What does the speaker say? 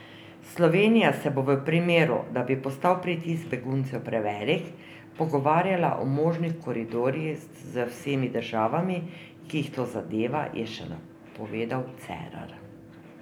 Slovenija se bo v primeru, da bi postal pritisk beguncev prevelik, pogovarjala o možnih koridorjih z vsemi državami, ki jih to zadeva, je še napovedal Cerar.